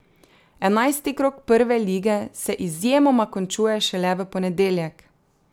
Enajsti krog Prve lige se izjemoma končuje šele v ponedeljek.